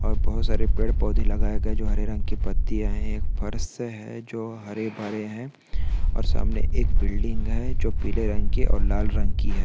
और बहोत सारे पेड़ पोदहे लगाए गए जो हरे रंग की पत्तियां है एक फर्श है जो हरे भरे है और सामने एक बिल्डिंग जो पीले रंग की ओर लाल रंग की है ।